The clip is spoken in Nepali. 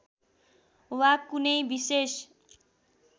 वा कुनै विशेष